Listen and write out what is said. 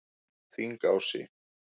Þingási